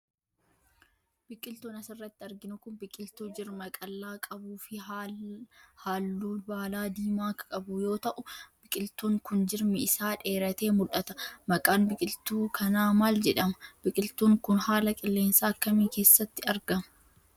Biqiltuun as irratti arginu kun, biqiltuu jirma qallaa qabuu fi haalluu baalaa diimaa qabu yoo ta'u, biqiltuun kun jirmi isaa dheeratee mul'ata. Maqaan biqiltuu kanaa maal jedhama? Biqiltuun kun, haala qilleensaa akkamii keessatti arga?